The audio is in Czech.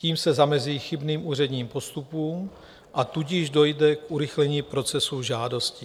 Tím se zamezí chybným úředním postupům, a tudíž dojde k urychlení procesu žádostí.